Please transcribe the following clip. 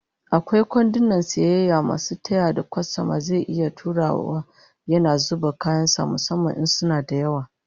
Akwai kwandunan sayayya masu taya da kwastoma zai iya turawa yana zuba kayan sa musamman in suna da yawa